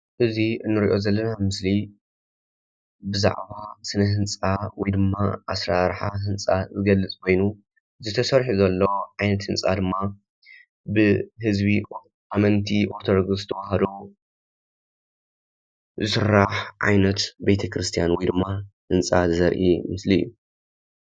እዚ ንርኦ ዘለና ምስእሊ ብዛዕባ ስነ ህንፃ ወይ ድማ ኣስራርሓ ህንፃ ዝገልፅ ኮይኑእዚ ተሰርሑ ዘሎ ዓይነት ህንፃ ድማ ብህዝቢ ኣመንቲ ኣርቶደክስ ተዋህዶ ዝስራሕ ዓይነት ቤተ ክርስትያን ወይ ድማ ህንፃ ዘርኢ ምስሊ እዩ።